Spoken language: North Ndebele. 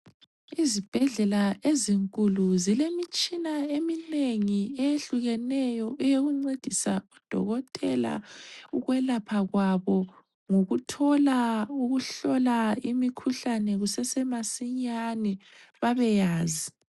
Izibhedlela ezinkulu zilemitshina eminengi eyehlukeneyo eyokuncedisa udokotela ukwelapha kwabo ngokuthola ukuhlola imikhuhlane kusesemasinyane babeyazi.